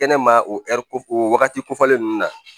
Kɛnɛ ma o o wagati kofɔlen ninnu na